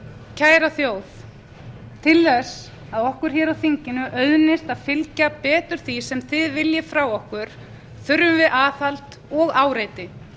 kæra þjóð til þess að okkur hér á þinginu auðnist að fylgja betur því sem þið viljið frá okkur þurfum við aðhald og áreiti